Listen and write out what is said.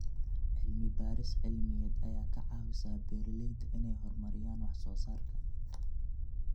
Cilmi-baaris cilmiyeed ayaa ka caawisa beeralayda inay horumariyaan wax soo saarka.